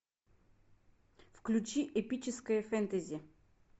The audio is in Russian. включи эпическое фэнтези